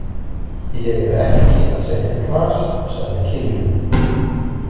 Ég er ekki að selja gras, sagði Kiljan.